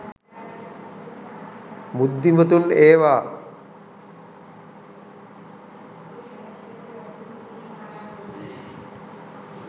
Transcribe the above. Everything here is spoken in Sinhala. බුද්ධිමතුන් ඒවා